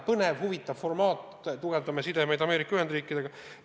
Põnev, huvitav formaat, tugevdame sidemeid Ameerika Ühendriikidega.